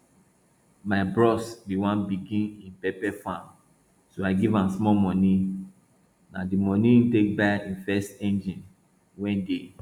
my bros bin wan begin him pepper farm so i give am small money na di money e take buy him first engine wey dey